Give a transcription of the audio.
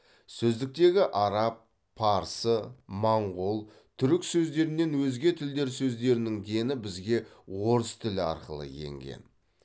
сөздіктегі араб парсы моңғол түрік сөздерінен өзге тілдер сөздерінің дені бізге орыс тілі арқылы енген